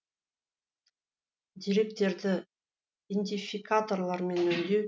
деректерді индификаторлармен өңдеу